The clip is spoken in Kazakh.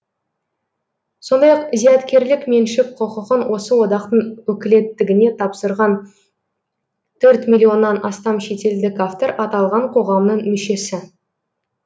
сондай ақ зияткерлік меншік құқығын осы одақтың өкілеттігіне тапсырған төрт миллионнан астам шетелдік автор аталған қоғамның мүшесі